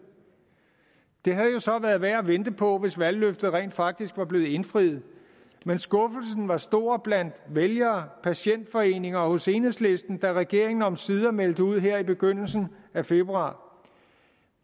det havde jo så været værd at vente på hvis valgløftet rent faktisk var blevet indfriet men skuffelsen var stor blandt vælgere patientforeninger og hos enhedslisten da regeringen omsider meldte ud her i begyndelsen af februar